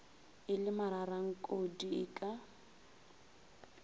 e le mararankodi e ka